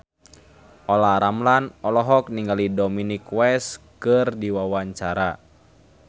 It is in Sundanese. Olla Ramlan olohok ningali Dominic West keur diwawancara